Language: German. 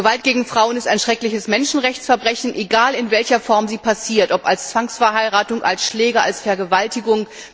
Gewalt gegen Frauen ist ein schreckliches Menschenrechtsverbrechen, egal in welcher Form sie passiert, ob als Zwangsverheiratung, als Schläge, als Vergewaltigung.